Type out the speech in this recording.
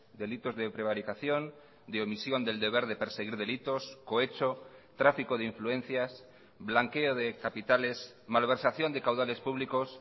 delitos de prevaricación de omisión del deber de perseguir delitos cohecho tráfico de influencias blanqueo de capitales malversación de caudales públicos